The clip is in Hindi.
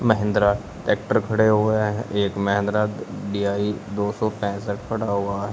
महिंद्रा टेक्टर खड़े हुए हैं एक महिंद्रा डी_आई दो सौ पैसठ खड़ा हुआ है।